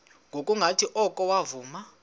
ngokungathi oko wavuma